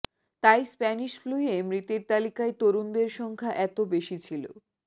তাই স্প্যানিশ ফ্লুয়ে মৃতের তালিকায় তরুণদের সংখ্যা এত বেশি ছিল